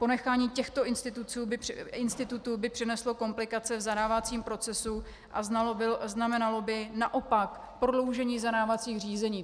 Ponechání těchto institutů by přineslo komplikace v zadávacím procesu a znamenalo by naopak prodloužení zadávacích řízení.